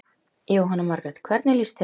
Jóhanna Margrét: Hvernig líst þér á?